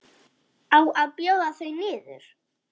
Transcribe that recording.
Á að bjóða þau niður?